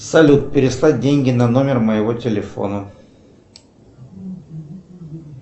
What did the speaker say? салют переслать деньги на номер моего телефона